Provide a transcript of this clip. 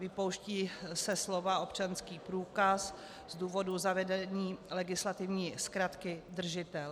Vypouští se slova "občanský průkaz" z důvodu zavedení legislativní zkratky držitel.